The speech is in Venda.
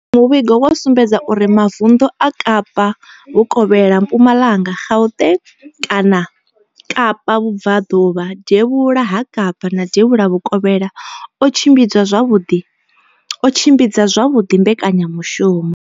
Muvhigo wo sumbedzisa uri mavundu a Kapa Vhukovhela, Mpumalanga, Gauteng, Kapa Vhubva ḓuvha, Devhula ha Kapa na Devhula Vhukovhela o tshimbidza zwavhuḓi mbekanya mushumo.